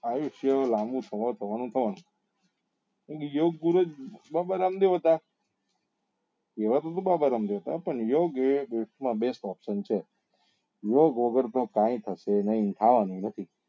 આયુષ્ય લાંબુ થવા નું થવા નું કારણ કેમ કે યોગ ગુરુ બાબા રામદેવ હતા વ ગુરુ બાબા રામદેવ હતા પણ યોગ એ best માં best છે યોગ વગર તો કઈ થશે નહી થવા નું એ નથી